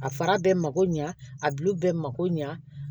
A fara bɛɛ mako ɲɛ a bulu bɛɛ mako ɲa